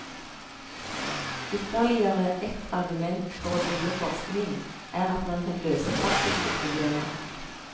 Ytterligere ett argument for å drive forskning er at man kan løse praktiske problemer.